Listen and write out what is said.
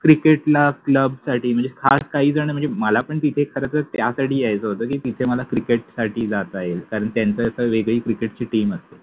Cricket ला club साठि मनजे खास काहि जण मनजे मला पन ततिथे खरतर त्यासाठि यायच होत कि तिथे मला क्रिकेट साठि जाता येईल कारण त्यांच अस एक वेगळि क्रिकेट चि टिम असते.